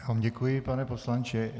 Já vám děkuji, pane poslanče.